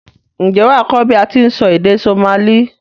N jé wàá kó bi a ti n sọ èdè Somali